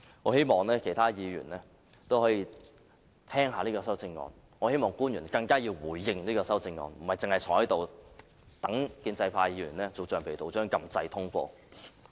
我希望其他議員也可以看清楚這項修正案的內容，我更希望官員回應這項修正案，而不僅是坐在這裏，待建制派議員當橡皮圖章般按下按鈕通過。